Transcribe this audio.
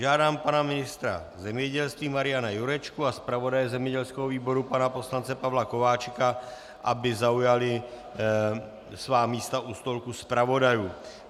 Žádám pana ministra zemědělství Mariana Jurečku a zpravodaje zemědělského výboru pana poslance Pavla Kováčika, aby zaujali svá místa u stolku zpravodajů.